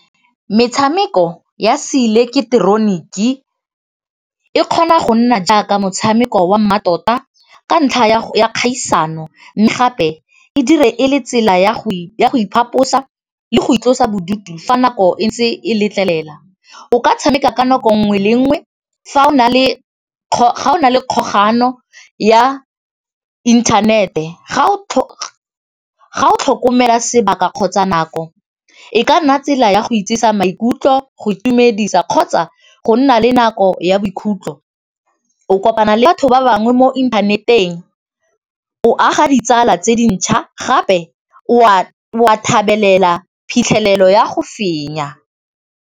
Metshameko ya se ileketeroniki e kgona go nna jaaka motshameko wa mmatota ka ntlha ya kgaisano, mme gape e dire e le tsela ya go iphaphose le go itlosa bodutu fa nako entse e letlelela, o ka tshameka ka nako nngwe le nngwe fa o na le kgogano ya inthanete ga o tlhokomela sebaka kgotsa nako, e ka nna tsela ya go ijesa maikutlo go itumedisa kgotsa go nna le nako ya bokhutlo, o kopa bana le batho ba bangwe mo inthaneteng o aga ditsala tse dintšhwa gape wa thabela phitlhelelo ya go fenya.